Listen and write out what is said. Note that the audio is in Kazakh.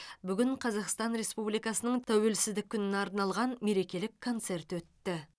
бүгін қазақстан республикасының тәуелсіздік күніне арналған мерекелік концерт өтті